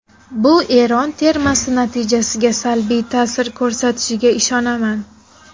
Bu Eron termasi natijasiga salbiy ta’sir ko‘rsatishiga ishonaman.